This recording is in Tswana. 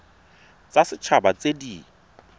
tsa set haba tse di